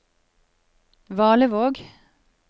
Valevåg